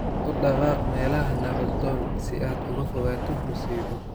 U dhaqaaq meelaha nabdoon si aad uga fogaato musiibo.""